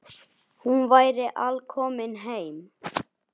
Hún væri alkomin heim.